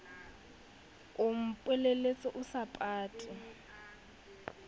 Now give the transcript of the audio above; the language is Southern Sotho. o mpolelletse o sa pate